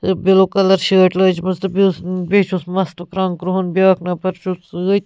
تہٕ blue colour .شٲٹۍ لٲجمٕژ تہٕ بیٚیہِ تہٕ بیٚیہِ چُھس مستُک رنٛگ کرٛہُن بیٛاکھ نفر چُھس سۭتۍ